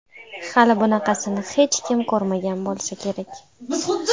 Hali bunaqasini hech kim ko‘rmagan bo‘lsa kerak.